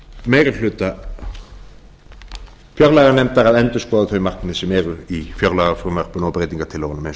meiri hluta fjárlaganefndar að endurskoða þau markmið sem eru í fjárlagafrumvarpinu og breytingartillögunum eins